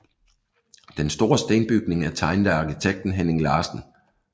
Den store stenbygning er tegnet af arkitekten Henning Larsen